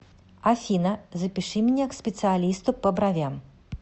афина запиши меня к специалисту по бровям